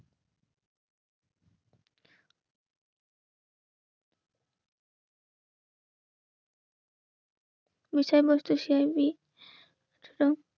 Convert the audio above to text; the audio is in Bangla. বিষয়বস্তু সেবিক